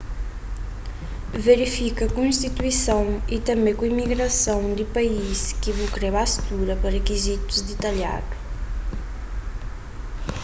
verifika ku istituison ytanbê ku imigrason di país ki bu kre ba studa pa rikizitus ditalhadu